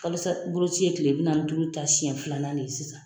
Kalosa boloci ye kile bi nanni ni duuru ta siɲɛ filanan de ye sisan